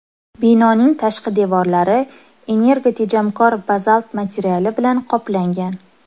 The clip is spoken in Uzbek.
Binoning tashqi devorlari energotejamkor bazalt materiali bilan qoplangan.